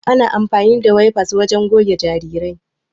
Ana amafani da wefas wajen goge jarirai.